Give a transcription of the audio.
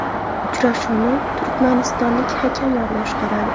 Uchrashuvni turkmanistonlik hakamlar boshqaradi.